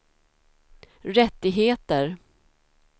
rättigheter